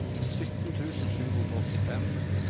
sytten tusen sju hundre og åttifem